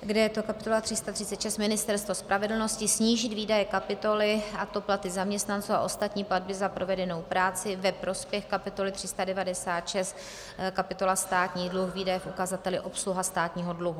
kde je to kapitola 336 Ministerstvo spravedlnosti, snížit výdaje kapitoly, a to platy zaměstnanců a ostatní platby za provedenou práci, ve prospěch kapitoly 396, kapitola Státní dluh, výdaje v ukazateli obsluha státního dluhu.